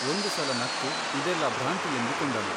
ಒಂದು ಸಲ ನಕ್ಕು ಇದೆಲ್ಲ ಭ್ರಾಂತಿಯೆಂದುಕೊಂಡನು.